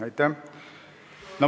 Aitäh!